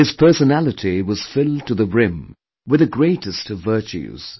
His personality was filled to the brim with the greatest of virtues